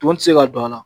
Tɔn ti se ka don a la